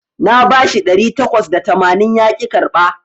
Na bashi ɗari takwas da tamanin yaƙi karɓa